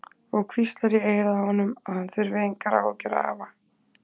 Og hvíslar í eyrað á honum að hann þurfi engar áhyggjur að hafa.